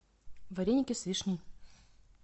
вареники с вишней